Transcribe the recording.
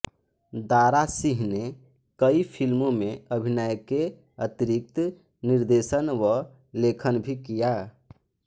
दारा सिंह ने कई फ़िल्मों में अभिनय के अतिरिक्त निर्देशन व लेखन भी किया